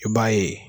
I b'a ye